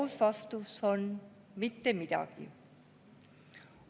Aus vastus on: mitte midagi.